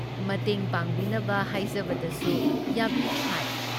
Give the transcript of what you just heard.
ꯃꯇꯦꯡ ꯄꯥꯡꯕꯤꯅꯕ ꯍꯥꯏꯖꯕꯗꯁꯨ ꯌꯥꯕꯤꯗꯦ ꯍꯥꯏ ꯫